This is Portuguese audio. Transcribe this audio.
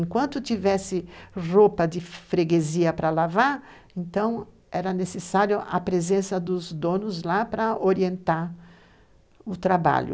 Enquanto tivesse roupa de freguesia para lavar, então era necessário a presença dos donos lá para orientar o trabalho.